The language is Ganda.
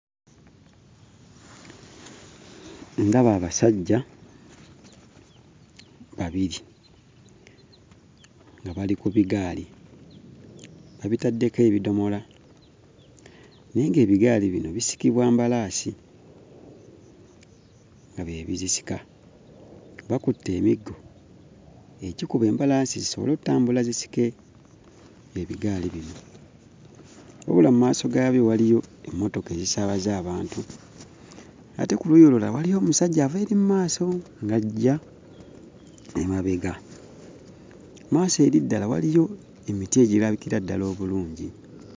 Ndaba abasajja babiri nga bali ku bigaali babitaddeko ebidomola naye ng'ebigaali bino bisikibwa mbalaasi; nga bye bizisika. Bakutte emiggo egikuba embalaasi zisobole ottambula zisike ebigaali bino. Wabula mu maaso gaabyo waliyo emmotoka ezisaabaza abantu ate ku luuyi olulala waliyo omusajja ava eri mu maaso ng'ajja emabega, mu maaso eri ddala waliyo emiti egirabikira ddala obulungi.